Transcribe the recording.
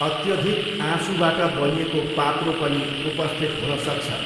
अत्यधिक आँसुबाट बनिएको पाप्रो पनि उपस्थित हुन सक्छ।